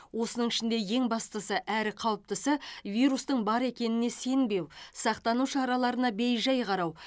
осының ішінде ең бастысы әрі қауіптісі вирустың бар екеніне сенбеу сақтану шараларына бейжай қарау